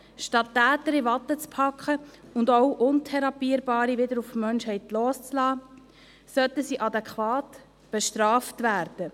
Statt Täter in Watte zu packen und auch Untherapierbare wieder auf die Menschheit loszulassen, sollten sie adäquat bestraft werden.